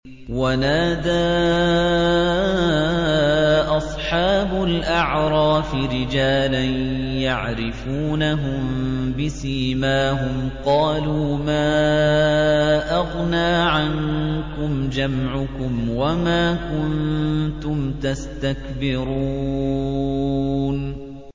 وَنَادَىٰ أَصْحَابُ الْأَعْرَافِ رِجَالًا يَعْرِفُونَهُم بِسِيمَاهُمْ قَالُوا مَا أَغْنَىٰ عَنكُمْ جَمْعُكُمْ وَمَا كُنتُمْ تَسْتَكْبِرُونَ